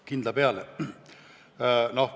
Kindla peale!